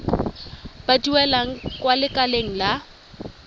ba duelang kwa lekaleng la